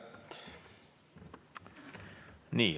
Aitäh!